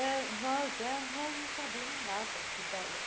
Eh nós éramos nós não sabíamos nada de ballet.